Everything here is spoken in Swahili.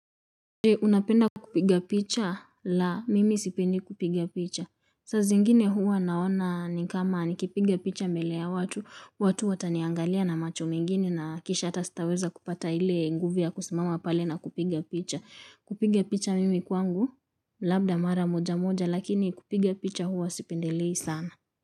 Je, unapenda kupiga picha? Laa, mimi sipendi kupiga picha. Saa zingine huwa naona ni kama nikipiga picha mbele ya watu, watu wataniangalia na macho mengine na kisha hata sitaweza kupata ile nguvi ya kusimama pale na kupiga picha. Kupiga picha mimi kwangu, labda mara moja moja, lakini kupiga picha huwa sipendelei sana.